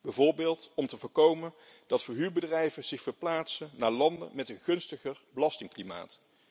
Bijvoorbeeld om te voorkomen dat verhuurbedrijven zich verplaatsen naar landen met een gunstiger belastingklimaat.